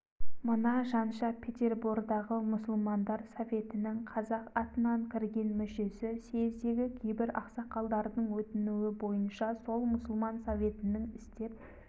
мына жанша петербордағы мұсылмандар советінің қазақ атынан кірген мүшесі съездегі кейбір ақсақалдардың өтінуі бойынша сол мұсылман советінің істеп